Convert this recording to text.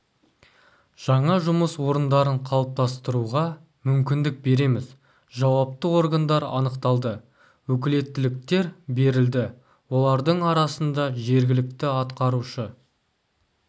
жаңа жұмыс орындарын қалыптастыруға мүмкіндік береміз жауапты органдар анықталды өкілеттіліктер берілді олардың арасында жергілікті атқарушы